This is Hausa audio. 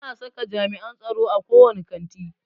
Ana saka jami'an tsaro a ko wane kanti.